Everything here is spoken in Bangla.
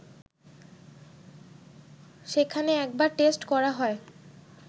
সেখানে একবার টেস্ট করা হয়